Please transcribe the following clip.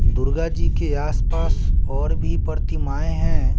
दुर्गा जी के आसपास और भी प्रतिमाएं हैं।